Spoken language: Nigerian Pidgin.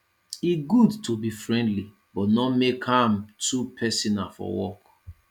e good to be friendly but no make am too personal for work